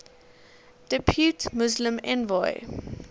depute muslim envoy